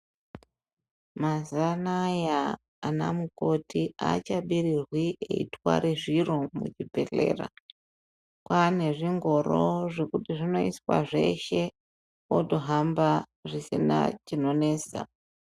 Mazuwa anaya ana mukoti aachabirirwi eitware zviro muzvibhedhlera kwane zvingoro zvekuti zvinoiswe zveshe otohamba asina chinonesa .